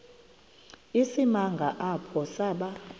isimanga apho saba